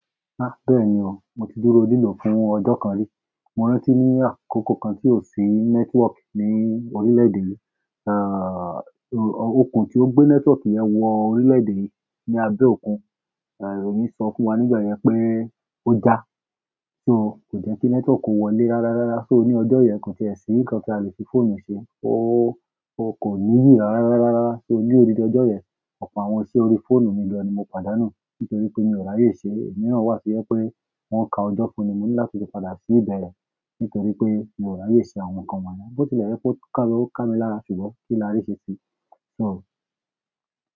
Há bẹ́ẹ̀ni o, mo ti dúró lilò fún ọjọ́ kan rí. Mo rántí ní àkókò kan tí ò sí nẹ́tíwọ̀kì ní orílẹ̀-èdè yìí, eh òkun tí ó gbé nẹ́tíwọ̀kì yẹn wọ orílẹ̀-èdè yìí ni Abéòkun. Eh ìròyìn sọ fún wa nígbà yẹn pé ó já, so kò jẹ́ kí nẹ́tíwọ̀kì ó wọlé rárárá. So ní ọjọ́ yẹn kò sì ṣe nǹkan tí a lè fi fóònù ṣe, o kò níyì rárárá. So odindi ọjọ́ yẹn, ọ̀pọ̀ àwọn iṣẹ́ orí fóònù mi gan ni mo pàdánù nítorí pé mi ò rààyè ṣe ẹ̀. Ìmíràn wá to jẹ pé wọ́n ka ọjọ́ fún mi láti padà sí ìbẹ̀rẹ̀ nítorí pé mi ò rààyè ṣe àwọn nǹkan wọ́n náà. Bó ti lẹ̀ jẹ̀ pé ó ká mi lára ṣùgbọ́n kí lá rì ṣeṣi. So.